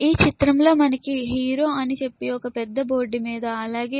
ఈ చిత్రంలో మనకి హీరో అని చెప్పి ఒక పెద్ద బోర్డు మీద అలాగే --